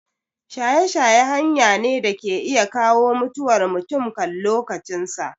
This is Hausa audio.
Shaye shaye hanya ne da ke iya kawo mutuwar mutum kan lokacin sa